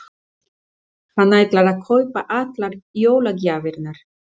Hann ætlar að kaupa allar jólagjafirnar.